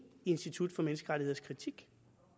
i institut for menneskerettigheders kritik